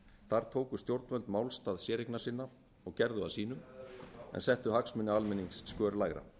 þar tóku stjórnvöld málstað séreignasinna og gerðu að sínum en settu hagsmuni almennings skör lægra